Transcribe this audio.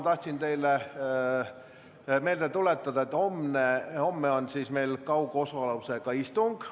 Tahan teile vaid meelde tuletada, et homme on meil kaugosalusega istung.